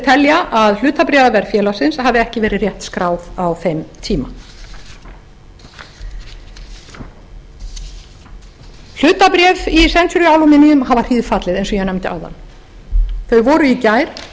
telja að hlutabréfaverð félagsins hafi ekki verið rétt skráð á þeim tíma hlutabréf í century aluminum hafa hríðfallið eins og ég nefndi áðan þau voru í gær